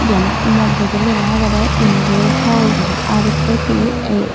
iyano moddedi lega agedey indoor hall guri R_C_PE.